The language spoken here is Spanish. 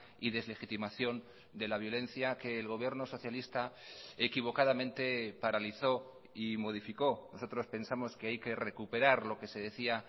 y deslegitimación de la violencia que el gobierno socialista equivocadamente paralizó y modificó nosotros pensamos que hay que recuperar lo que se decía